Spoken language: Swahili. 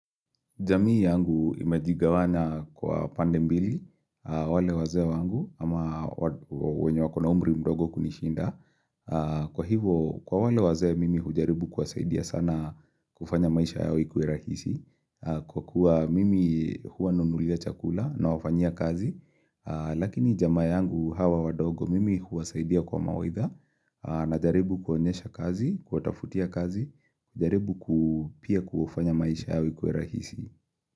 Jamii yangu imejigawanya kwa pande mbili, wale wazee wangu, ama wenye wako na umri mdogo kunishinda. Kwa hivo, kwa wale wazee mimi hujaribu kuwasaidia sana kufanya maisha yao ikuwe rahisi. Kwa kuwa mimi huwa nunulia chakula nawafanyia kazi, lakini jamaa yangu hawa wadogo mimi huwasaidia kwa mawaidha, na jaribu kuwa onyesha kazi, kuwatafutia kazi, jaribu ku pia kufanya maisha yao ikuwe rahisi.